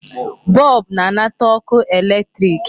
Bulb na-anata ọkụ electric.